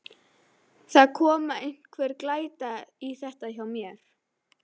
Það er að koma einhver glæta í þetta hjá mér.